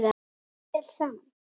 Spilum vel saman.